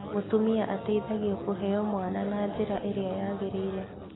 Mũtumia ateithagio kũheo mwana na njĩra ĩrĩa yagĩrĩire